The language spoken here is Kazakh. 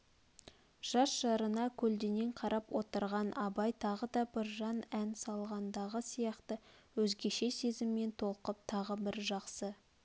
жас жарына көлденең қарап отырған абай тағы да біржан ән салғандағы сияқты өзгеше сезіммен толқып тағы бір жақсы